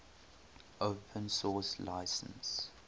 open source license